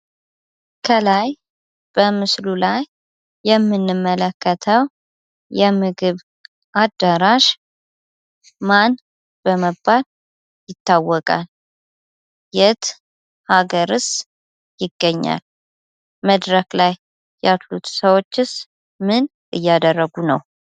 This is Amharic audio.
ከላይ በምስሉ ላይ የምንመለከተው የምግብ አዳራሽ ምማን በመባል ይታወቃል? የት አገርስ ይገኛል? መድረክ ላይ ያሉት ሰዎችስ ምን እያደረጉ ነው?